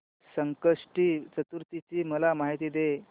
संकष्टी चतुर्थी ची मला माहिती दे